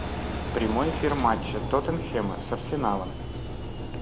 прямой эфир матча тоттенхэма с арсеналом